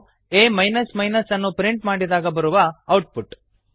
ಇದು ಆ ಅನ್ನು ಪ್ರಿಂಟ್ ಮಾಡಿದಾಗ ಬರುವ ಔಟ್ ಪುಟ್